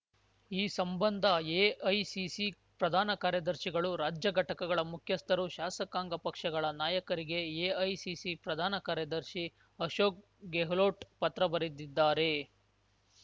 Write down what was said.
ಈ ಸಂಬಂಧ ಎಐಸಿಸಿ ಪ್ರಧಾನ ಕಾರ್ಯದರ್ಶಿಗಳು ರಾಜ್ಯ ಘಟಕಗಳ ಮುಖ್ಯಸ್ಥರು ಶಾಸಕಾಂಗ ಪಕ್ಷಗಳ ನಾಯಕರಿಗೆ ಎಐಸಿಸಿ ಪ್ರಧಾನ ಕಾರ್ಯದರ್ಶಿ ಅಶೋಕ್‌ ಗೆಹ್ಲೋಟ್‌ ಪತ್ರ ಬರೆದಿದ್ದಾರೆ